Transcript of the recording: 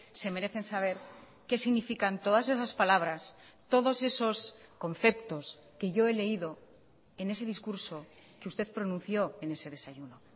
se merecen saber qué significan todas esas palabras todos esos conceptos que yo he leído en ese discurso que usted pronunció en ese desayuno